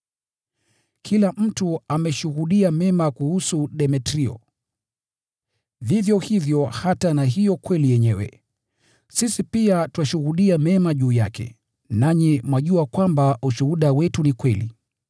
Kila mtu ameshuhudia mema kuhusu Demetrio, vivyo hivyo hata na hiyo kweli yenyewe. Sisi pia twashuhudia mema juu yake, nanyi mwajua kwamba ushuhuda wetu ni kweli.